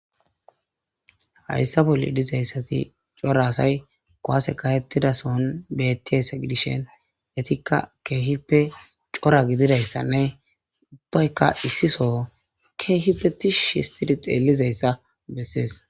hayssa bolli dizayssati cora asay kuwase kahettida soon bettiyassa gidishen eytikka keehipe cora gididayssanne ubbaykka issiso keehipe tishi histidi xeelizayssa bessees